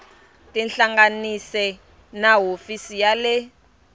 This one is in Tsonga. tihlanganise na hofisi ya le